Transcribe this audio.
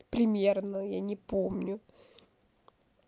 примерно я не помню